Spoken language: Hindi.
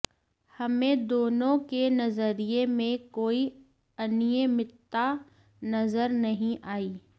हमें दोनों के नजरिए में कोई अनियमितता नजर नहीं आई